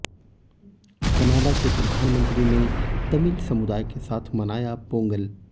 Canada के प्रधानमंत्री ने तमिल समुदाय के साथ मनाया पोंगल